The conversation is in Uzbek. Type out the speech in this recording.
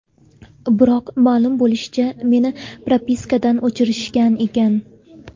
Biroq, ma’lum bo‘lishicha, meni propiskadan o‘chirishgan ekan.